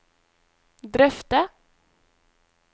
drøfte